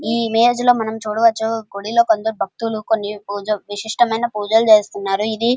ఈ ఇమేజ్ లో మనం చూడవచ్చు గుడిలో కొందరు భక్తులు కొన్ని విశిష్టమైన పూజలు చేస్తున్నారు. ఇది --